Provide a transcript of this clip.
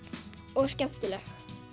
og skemmtileg